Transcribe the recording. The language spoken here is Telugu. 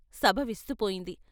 ' సభ విస్తుపోయింది.